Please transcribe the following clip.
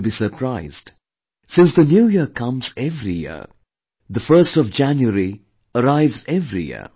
You'll be surprised, since the New Year comes every year, the 1st of January arrives every year